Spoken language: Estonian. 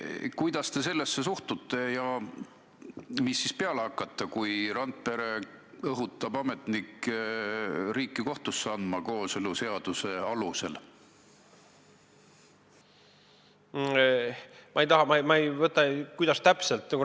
Kuidas te sellesse suhtute ja mis siis peale hakata, kui Randpere õhutab ametnikke riiki kooseluseaduse alusel kohtusse andma?